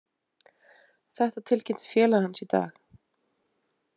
Þetta tilkynnti félag hans í dag.